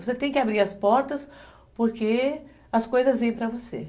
Você tem que abrir as portas porque as coisas vêm para você.